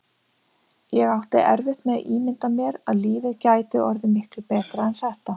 Ég átti erfitt með að ímynda mér að lífið gæti orðið miklu betra en þetta.